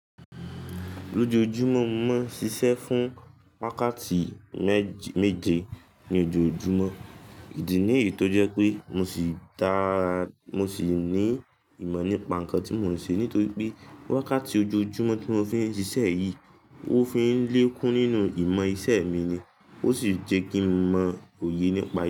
Lójoojúmọ́ mo máa ń ṣiṣẹ́ fún wákàtí méje ní ojoojúmọ́. Ìdí nìyí tó jẹ́ pé mo sì ta--sì ní ìmọ̀ nípa nǹkan tí mò ń ṣe nítorí pé wákàtí ojoojúmọ́ tí mo fi ń ṣiṣẹ́ yìí ó fi ń lékún nínú ìmọ̀ iṣẹ́ mi ni, ó sì jẹ́ kí n mọ òye nípa i.